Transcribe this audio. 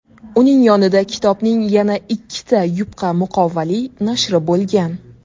Uning yonida kitobning yana ikkita yupqa muqovali nashri bo‘lgan.